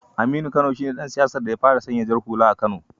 Aminu Kano shi ne dan siyasar da ya fara sanya jar hula a kano.